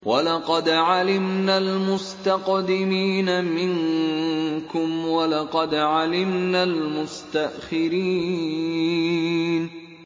وَلَقَدْ عَلِمْنَا الْمُسْتَقْدِمِينَ مِنكُمْ وَلَقَدْ عَلِمْنَا الْمُسْتَأْخِرِينَ